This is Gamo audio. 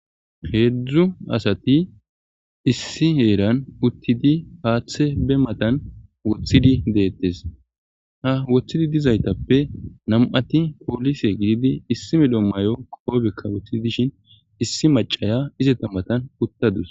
Heedzdzu asati issi heeran uttidi haaththe be matan woththidi deettes ha woththidi dizaytappe nam7ati poolise gididi issime dommayo qoobekka wothidi dishin issi macaya izeta matan uttadus.